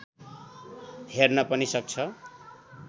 हेर्न पनि सक्छ